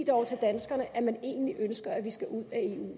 dog til danskerne at man egentlig ønsker at vi skal ud